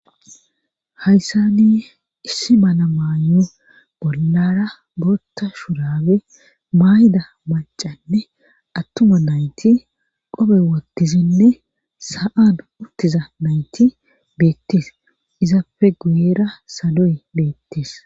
Hayssani issi mana maayu bollara bootta shurabe mayda macanne attuma nayti qobe wotizinne sa7an uttiza nayti beettees izapfe guyera sadoy beettes.